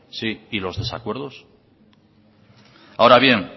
sí y los desacuerdos ahora bien